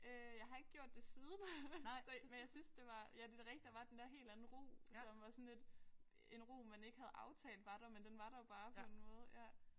Øh jeg har ikke gjort det siden så men jeg synes det var ja det er da rigtigt der var den der helt anden ro som var sådan lidt en ro man ikke havde aftalt var der men den var der bare på en måde ja